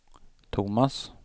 Tomas